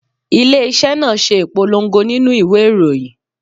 Ilé iṣẹ́ náà ṣe ìpolongo nínú ìwé ìròyìn.